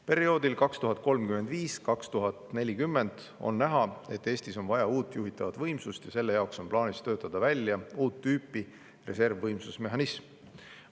Perioodiks 2035–2040 on ette näha, et Eestis on vaja uut juhitavat võimsust, ja selle jaoks on plaanis töötada välja uut tüüpi reservvõimsuse mehhanism.